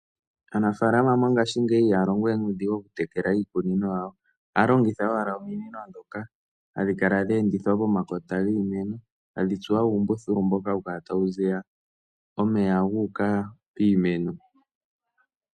Aanafalama mongashingeyi ihaa longowe nuudhingu oku tekela iikunino yawo. Oha longitha owala ominino dhoka hadhi kala dhe endithwa pomakota giimeno. Tadhi tsuwa uumbululu mbono hawu kala tawu ziya omeya gu uka piimeno.